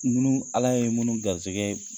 Nun Ala ye munnu garisigɛ